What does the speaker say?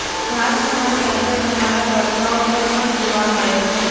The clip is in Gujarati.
ભાત ખાવાની અસર તમારા વર્કઆઉટ પર પણ જોવા મળે છે